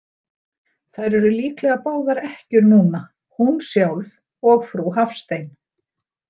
Þær eru líklega báðar ekkjur núna, hún sjálf og frú Hafstein.